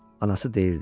Anası deyirdi: